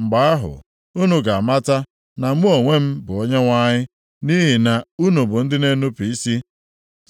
Mgbe ahụ, unu ga-amata na mụ onwe m bụ Onyenwe anyị. Nʼihi na unu bụ ndị na-enupu isi